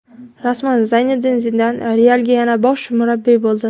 Rasman: Zinedin Zidan "Real"ga yana bosh murabbiy bo‘ldi.